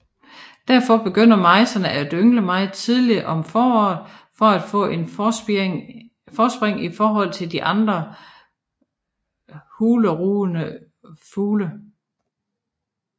Derfor begynder mejserne at yngle meget tidligt om foråret for at få et forspring i forhold til andre hulerugende fugle